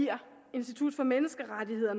institut for menneskerettigheder